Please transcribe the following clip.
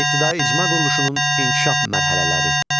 İbtidai icma quruluşunun inkişaf mərhələləri.